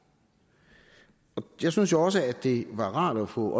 jeg synes også at det var rart at få